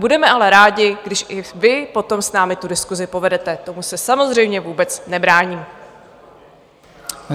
Budeme ale rádi, když i vy potom s námi tu diskusi povedete, tomu se samozřejmě vůbec nebráním.